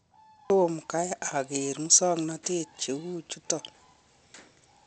Tomo kai agere musang'natet cheu chuton.